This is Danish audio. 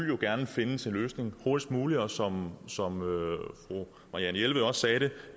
jo gerne findes en løsning hurtigst muligt og som fru marianne jelved også sagde det